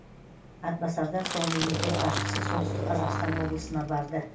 атбасардан соң мемлекет басшысы солтүстік қазақстан облысына барды